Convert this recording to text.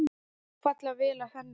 Falla vel að henni.